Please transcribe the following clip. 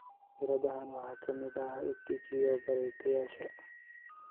Fikradahaan waxaa ka mid ah EdTech iyo bartayaasha